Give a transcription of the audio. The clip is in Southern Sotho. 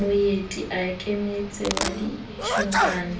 moeti ya ikemetseng wa ditjhankane